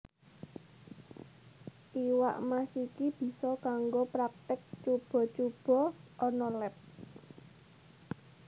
Iwak Mas iki bisa kanggo praktik cuba cuba ana leb